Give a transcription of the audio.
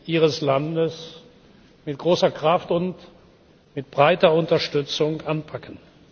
Ihres Landes mit großer Kraft und mit breiter Unterstützung anpacken.